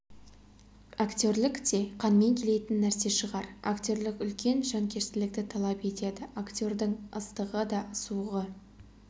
актерлік те қанмен келетін нәрсе шығар актерлік үлкен жанкештілікті талап етеді актердің ыстығы да суығы